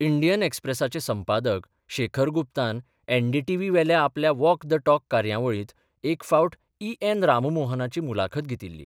Indian ॲक्स्प्रेसाचे संपादक शेखर गुप्तान एनडीटीव्ही वेल्या आपल्या वॉक द टॉक कार्यावळींत एक फावट ई एन राममोहनाची मुलाखत घेतिल्ली.